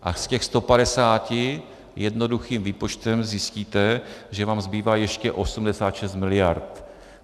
A z těch 150 jednoduchým výpočtem zjistíte, že vám zbývá ještě 86 miliard.